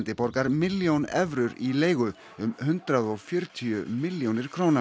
borgar milljón evrur í leigu um hundrað og fjörutíu milljónir króna